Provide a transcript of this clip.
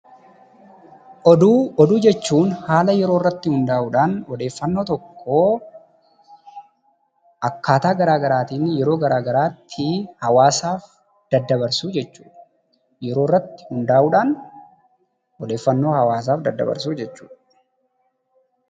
Oduu jechuun haala yeroo irratti hundaa'uudhaan odeeffannoo tokko akkaataa garaa garaatiin yeroo garaa garaatti hawwaasaaf daddabarsuu jechuu dha. Yeroo irratti hundaa'uudhaan odeeffannoo hawwaasaaf dabarsuu jechuudha.